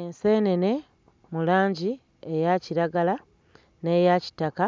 Enseenene mu langi eya kiragala n'eya kitaka